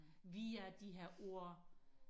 via de her ord